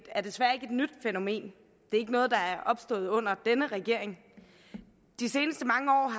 er desværre ikke et nyt fænomen det er ikke noget der er opstået under denne regering de seneste mange år